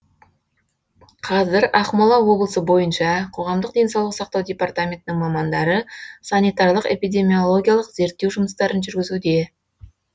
қазір ақмола облысы бойынша қоғамдық денсаулық сақтау департаментінің мамандары санитарлық эпидемиологиялық зерттеу жұмыстарын жүргізуде